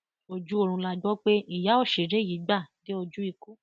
ojú oorun la gbọ pé ìyá òṣèré yìí gbà dé ojú ikú